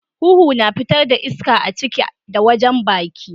Huhu na fitar da iska a ciki da wajen baki.